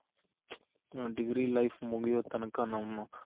degree life ಮುಗ್ಯೋ ತನಕ ನಮ್ಮ